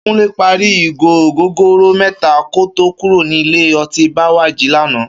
Kúnlé parí ìgò ògógóró mẹ́ta kó tó kúrò ní ilé ọtí Bẹ́wàjí lánàá